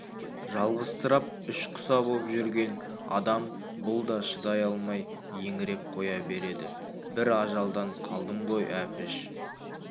жалғызсырап ішқұса боп жүрген адам бұл да шыдай алмай еңіреп қоя береді бір ажалдан қалдым ғой әпіш